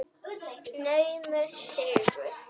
Naumur sigur.